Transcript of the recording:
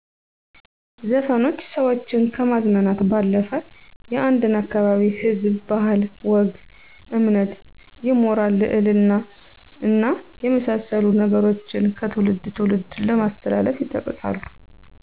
ዘፈኖች ሰዎችን ከማዝናናት ባለፈ የአንድን አካባቢ ህዝብ ባህል፣ ወግ፣ እምነት፣ የሞራል ልዕልና እና የመሳሰሉ ነገሮችን ከትውልድ ትውልድ ለማስተላለፍ ይጠቅሳሉ።